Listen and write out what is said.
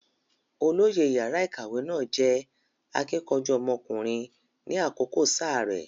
Olóyè yàrá ìkàwé náà jẹ́ akíkanjú ọmọkùnrin ni àkókò sáà rẹ̀.